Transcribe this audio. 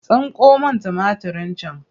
Tsinko min tumatirin can!